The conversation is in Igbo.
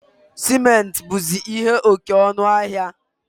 Simenti buzi ihe oke ọnụ ahịa